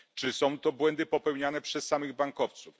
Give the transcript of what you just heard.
Czy są to błędy popełniane przez samych bankowców?